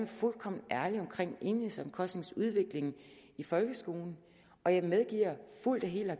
fuldkommen ærlig omkring enhedsomkostningsudviklingen i folkeskolen og jeg medgiver fuldt og helt og